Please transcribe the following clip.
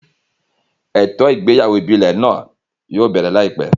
Ètò ìgbéyàwó ìbílẹ̀ náà yóò bẹ̀rẹ̀ láìpẹ́